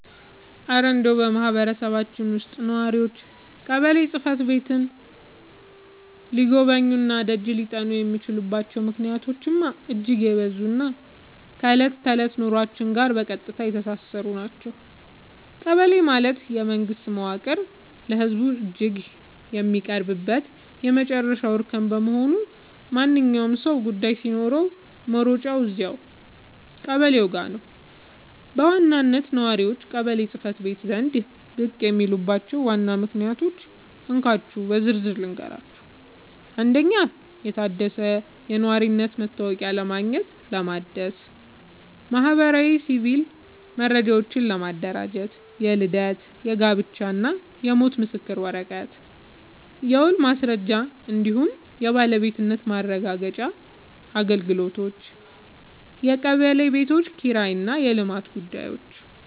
እረ እንደው በማህበረሰባችን ውስጥ ነዋሪዎች ቀበሌ ጽሕፈት ቤትን ሊጎበኙና ደጅ ሊጠኑ የሚችሉባቸው ምክንያቶችማ እጅግ የበዙና ከዕለት ተዕለት ኑሯችን ጋር በቀጥታ የተሳሰሩ ናቸው! ቀበሌ ማለት የመንግስት መዋቅር ለህዝቡ እጅግ የሚቀርብበት የመጨረሻው እርከን በመሆኑ፣ ማንኛውም ሰው ጉዳይ ሲኖረው መሮጫው እዚያው ቀበሌው ጋ ነው። በዋናነት ነዋሪዎች ቀበሌ ጽ/ቤት ዘንድ ብቅ የሚሉባቸውን ዋና ዋና ምክንያቶች እንካችሁ በዝርዝር ልንገራችሁ፦ 1. የታደሰ የነዋሪነት መታወቂያ ለማግኘትና ለማደስ 2. ማህበራዊና ሲቪል መረጃዎችን ለማደራጀት (የልደት፣ የጋብቻና የሞት ምስክር ወረቀት) 3. የውልና ማስረጃ እንዲሁም የባለቤትነት ማረጋገጫ አገልግሎቶች 4. የቀበሌ ቤቶች ኪራይና የልማት ጉዳዮች